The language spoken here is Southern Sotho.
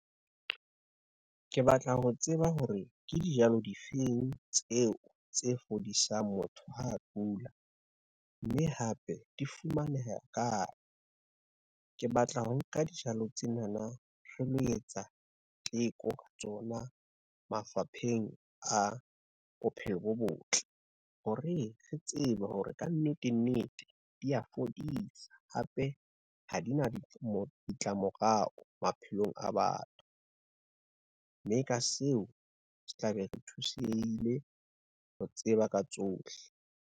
Ke batla ho tseba hore ke dijalo difeng tseo tse fodisang motho ha kula, mme hape di fumaneha kae. Ke batla ho nka dijalo tsenana re lo etsa teko ka tsona mafapheng a bophelo bo botle, hore re tsebe hore kannete nnete di a fodisa, hape ha di na ditlamorao maphelong a batho, mme ka seo se tla be re thusehile ho tseba ka tsohle.